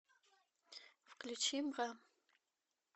включи бра